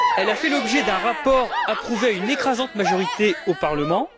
Elle a fait l'objet d'un rapport approuvé à une écrasante majorité au Parlement.